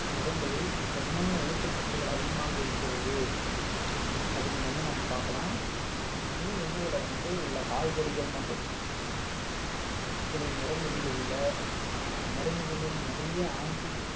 நிறங்களில் என்னென்ன ஊட்டச்சத்துக்கள் அதிகமாக இருக்கிறது அப்படின்னு வந்து நாம் பார்க்கலாம் நம்ம உண்ணும் உணவுல வந்து உள்ள காய்கறிகள் மற்றும் பழங்களின் நிறங்களில் உள்ள ஆஹ் நிறமிகளில் நிறைய anti